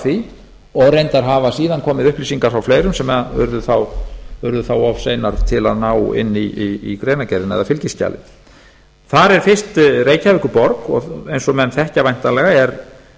því og reyndar hafa síðan komið upplýsingar frá fleirum sem urðu þá of beinir til að ná inn í greinargerðina eða fylgiskjalið þar er þá fyrst reykjavíkurborg og eins og menn þekkja væntanlega